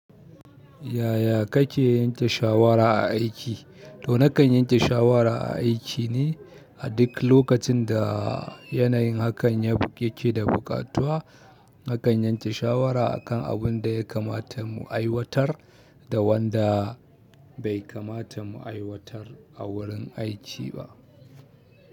Yaya kake yanke shawara a aiki? To nakan yanke shawara a aiki ne a duk lokacin da yanayin hakan yake da buƙatuwa. Nakan yanke shawara a kan abunda ya kamata mu aiwatar da wanda bai kamata mu aiwatar a wurin aiki ba.